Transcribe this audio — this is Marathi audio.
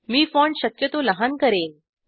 मी फाँट शक्यतो लहान करेन